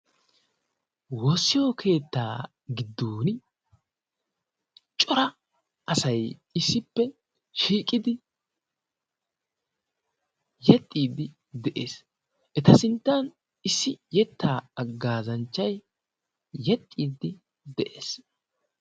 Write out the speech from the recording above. woossiyo keettaa giddon cora asai issippe shiiqidi yexxiiddi de7ees. eta sinttan issi yettaa aggaazanchchai yexxiiddi de7ees.